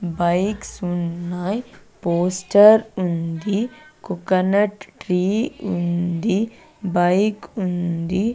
Bikes ఉన్నాయి poster ఉంది coconut tree ఉంది బైక్ ఉంది.